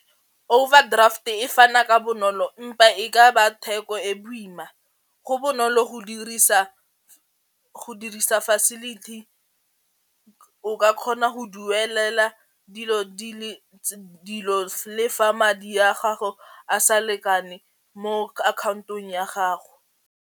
Overdraft-e fana ka bonolo e ka ba theko e boima go bonolo go dirisa facility o ka kgona go duelela dilo le fa madi a gago a sa lekane mo akhaontong ya gago.